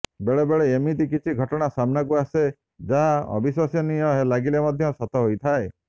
ବେଳେ ବେଳେ ଏମିତି କିଛି ଘଟଣା ସାମ୍ନାକୁ ଆସେ ଯାହା ଅବିଶ୍ୱସନୀୟ ଲାଗିଲେ ମଧ୍ୟ ସତ ହୋଇଥାଏ